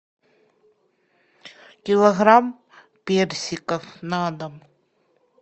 килограмм персиков на дом